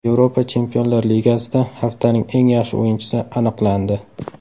Yevropa Chempionlar Ligasida haftaning eng yaxshi o‘yinchisi aniqlandi.